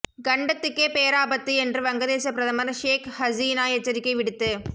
கண்டத்துக்கே பேராபத்து என்று வங்க தேச பிரதமர் ஷேக் ஹசீனா எச்சரிக்கை விடுத்து